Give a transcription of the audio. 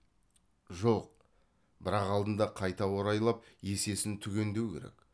жоқ бірақ алдында қайта орайлап есесін түгендеу керек